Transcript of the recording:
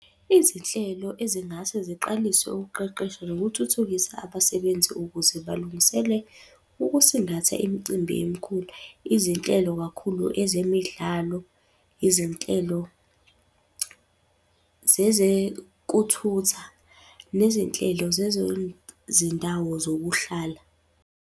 Izinhlelo ezingase ziqaliswe ukuqeqesha nokuthuthukisa abasebenzi ukuze balungisele ukusingatha imicimbi emikhulu. Izinhlelo kakhulu ezemidlalo, izinhlelo zezekuthutha, nezinhlelo zezezindawo zokuhlala.